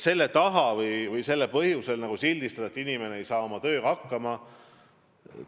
Sel põhjusel sildistada, et inimene ei saa oma tööga hakkama, pole õige.